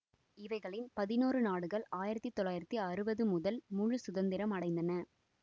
இவைகளில் பதினொரு நாடுகள் ஆயிரத்தி தொள்ளாயிரத்தி அறுபது முதல் முழு சுதந்திரம் அடைந்தன